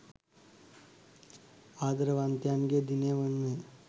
ආදරවන්තයන්ගේ දිනය යනුවෙන්